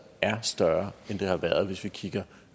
er større end det har været hvis vi kigger